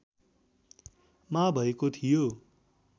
मा भएको थियो